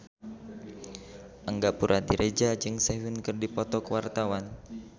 Angga Puradiredja jeung Sehun keur dipoto ku wartawan